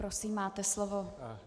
Prosím, máte slovo.